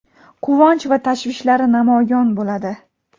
quvonch va tashvishlari namoyon bo‘ladi.